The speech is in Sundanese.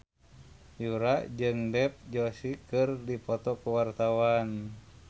Yura jeung Dev Joshi keur dipoto ku wartawan